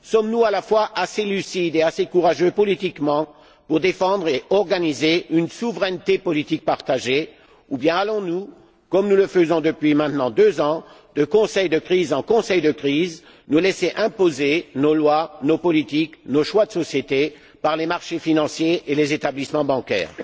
Sommes nous à la fois assez lucides et assez courageux politiquement pour défendre et organiser une souveraineté politique partagée, ou bien allons nous, comme nous le faisons depuis maintenant deux ans, de Conseil de crise en Conseil de crise, nous laisser imposer nos lois, nos politiques, nos choix de société par les marchés financiers et les établissements bancaires?